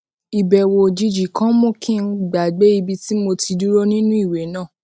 ìbèwò òjijì kan mú kí n gbàgbé ibi tí mo ti dúró nínú ìwé náà